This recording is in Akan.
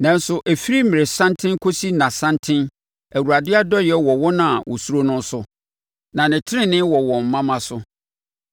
Nanso ɛfiri mmerɛsanten kɔsi nnasanten Awurade adɔeɛ wɔ wɔn a wɔsuro no so, na ne tenenee wɔ wɔn mma mma so,